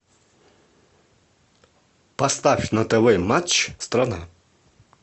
поставь на тв матч страна